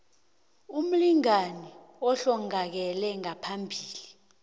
umlingani ohlongakele ngaphambi